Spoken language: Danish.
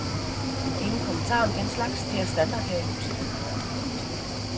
Ingen kommentarer om den slags, det er standard her i huset.